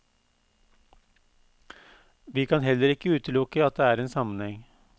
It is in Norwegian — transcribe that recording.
Vi kan heller ikke utelukke at det er en sammenheng.